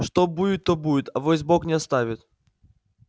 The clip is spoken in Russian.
что будет то будет авось бог не оставит